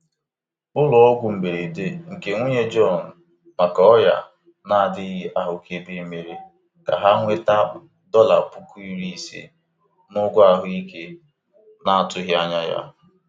Ụlọọgwụ mberede nke nwunye Jọn maka ọrịa na-adịghị ahụkebe mere ka ha nweta dọla puku iri ise n'ụgwọ ahụike na-atụghị anya ya.